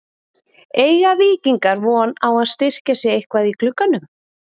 Eiga Víkingar von á að styrkja sig eitthvað í glugganum?